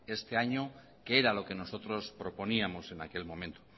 este año que era lo que nosotros proponíamos en aquel momento